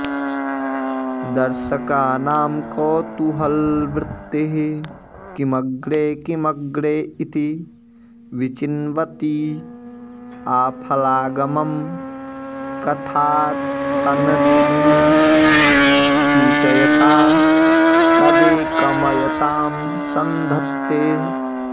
दर्शकानां कौतूहलवृत्तिः किमग्रे किमग्रे इति विचिन्वती आफलागमं कथातन्तून् सूचयता तदेकमयतां सन्धत्ते